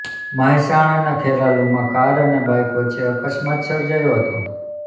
મહેસાણાના ખેરાલુમાં કાર અને બાઇક વચ્ચે અકસ્માત સર્જાયો હતો